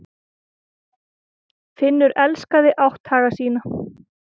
Finnur elskaði átthaga sína.